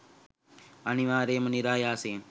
අනිවාර්යයෙන්ම නිරායාසයෙන්